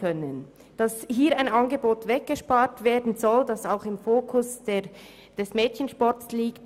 Besonders stossend finden wir, dass hier ein Angebot weggespart werden soll, das auch im Fokus des Mädchensports liegt.